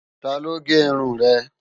Táló gè irún rè?